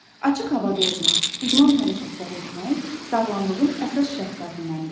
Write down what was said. Açıq havada olmaq, idman hərəkətləri etmək sağlamlığın əsas şərtlərindəndir.